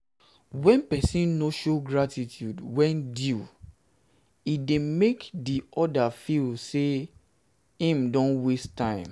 when persin no show gratitude when due due e de make di other feel like say i'm don waste time